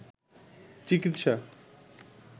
চিকিৎসা